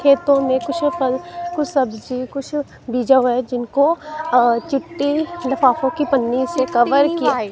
खेतों में कुछ फल कुछ सब्जी कुछ बिजा हुआ है जिनको अ चूट्टी लिफाफों की पन्नी से कवर किया--